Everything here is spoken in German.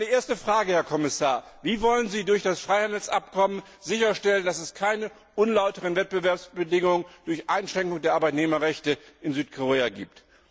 Also meine erste Frage Wie wollen Sie durch das Freihandelsabkommen sicherstellen, dass es keine unlauteren Wettbewerbsbedingungen durch Einschränkung der Arbeitnehmerrechte in Südkorea gibt?